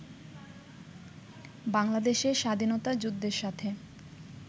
বাংলাদেশের স্বাধীনতা যুদ্ধের সাথে